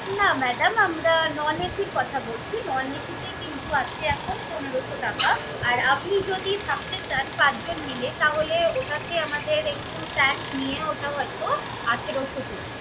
না madam আমরা non AC এর কথা বলছি। non AC তে কিন্তু আছে এখন পনেরশো টাকা। আর আপনি যদি থাকতে চান পাঁচজন মিলে তাহলে ওটাতে আমাদের একটু tax নিয়ে ওটা হয়ত আঠারশো পড়বে।